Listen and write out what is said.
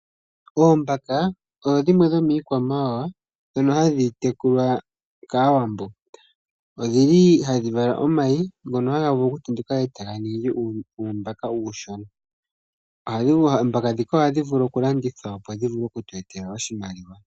Oombaka odho dhimwe dhomiikwamawawa dhono hadhi tekulwa kAawambo. Odhi li hadhi vala omayi ngono haga tenduka ningi uumbaka uushona. Anuwa oombaka dhika ohadhi vulu okulandithwa opo dhi vule oku tu etela oshimaliwa.